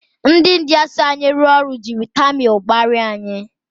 Ndị India so anyị rụọ ọrụ jiri tamịl kparia anyị.